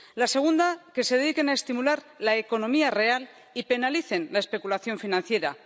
La segunda, que se dediquen a estimular la economía real y penalicen la especulación financiera.